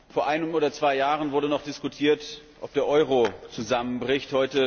Vor einem oder zwei Jahren wurde noch diskutiert, ob der Euro zusammenbricht.